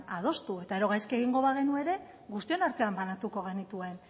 adostu eta gero gaizki egingo bagenu ere guztioz artean banatuko genituen